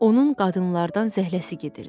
Onun qadınlardan zəhləsi gedirdi.